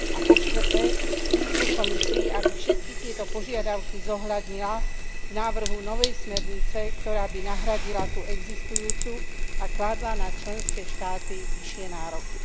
A po štvrté, výzvu Komisii, aby všetky tieto požiadavky zohľadnila v návrhu novej smernice, ktorá by nahradila tú existujúcu a kládla na členské štáty vyššie nároky.